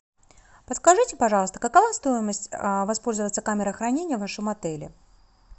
подскажите пожалуйста какова стоимость воспользоваться камерой хранения в вашем отеле